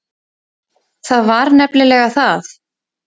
Það var nefnilega það.